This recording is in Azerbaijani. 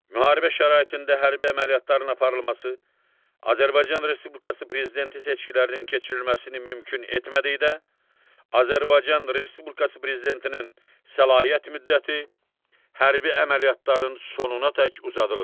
Müharibə şəraitində hərbi əməliyyatların aparılması Azərbaycan Respublikası Prezidenti seçkilərinin keçirilməsini mümkün etmədikdə, Azərbaycan Respublikası Prezidentinin səlahiyyət müddəti hərbi əməliyyatların sonunadək uzadılır.